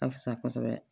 A fisa kosɛbɛ